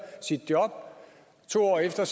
sit job to år efter